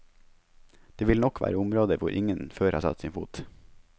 Det vil nok være områder hvor ingen før har satt sin fot.